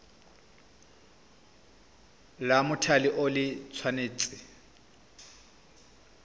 la mothale o le tshwanetse